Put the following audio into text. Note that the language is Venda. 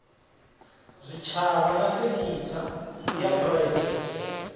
zwitshavha na sekitha ya phuraivete